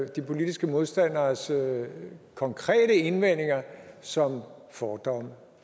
de politiske modstanderes konkrete indvendinger som fordomme